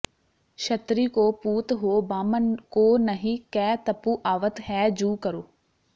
ਛਤ੍ਰੀ ਕੋ ਪੂਤ ਹੋ ਬਾਮ੍ਹਨ ਕੋ ਨਹਿ ਕੈ ਤਪੁ ਆਵਤ ਹੈ ਜੁ ਕਰੋ